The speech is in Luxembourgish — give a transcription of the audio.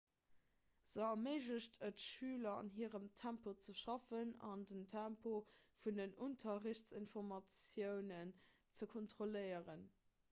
se erméiglecht et schüler an hirem tempo ze schaffen an den tempo vun den unterrichtsinformatiounen ze kontrolléieren